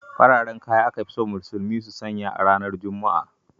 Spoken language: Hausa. Fararen kaya aka fi so musulmi su sanya a ranar juma'a.